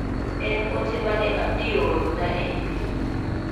En ote mane Abdi oorona e imel.